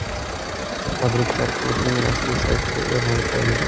Tabriklar klubning rasmiy saytida e’lon qilindi .